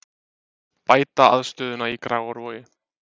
Bæta aðstöðuna í Grafarvogi